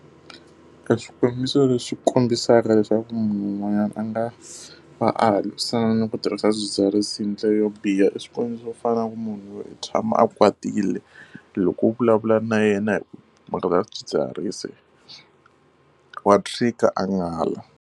Eswikombiso leswi kombisaka leswaku munhu un'wanyana a nga va a lwisana ni ku tirhisa swidzidziharisi hi ndlela yo biha i swikombiso swo fana na ku munhu loyi u tshama a kwatile loko u vulavula na yena hi mhaka ya swidzidziharisi wa a n'ala.